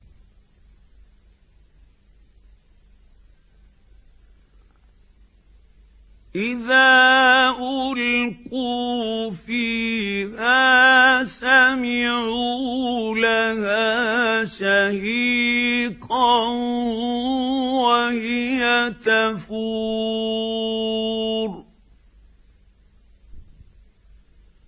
إِذَا أُلْقُوا فِيهَا سَمِعُوا لَهَا شَهِيقًا وَهِيَ تَفُورُ